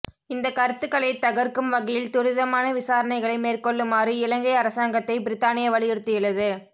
இந்த கருத்துக்களை தகர்க்கும் வகையில் துரிதமான விசாரணைகளை மேற்கொள்ளுமாறு இலங்கை அரசாங்கத்தை பிரித்தானியா வலியுறுத்தியுள்ளது